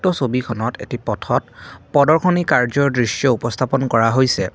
ছবিখনত এটি পথত প্ৰদৰ্শনী কাৰ্য্য উপস্থাপন কৰা হৈছে।